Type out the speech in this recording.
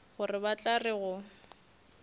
gore ba tla re go